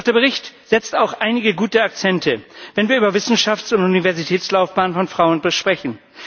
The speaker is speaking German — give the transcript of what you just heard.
Doch der Bericht setzt auch einige gute Akzente, wenn wir über Wissenschafts und Universitätslaufbahnen von Frauen sprechen.